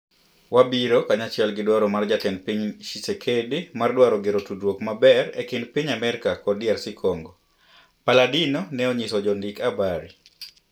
"wabiro kanyachiel gi dwaro mar jatend piny Tshisekedi mar dwaro gero tudruok maber e kind piny America kod DRC Congo," Palladino na onyiso jo ndik habari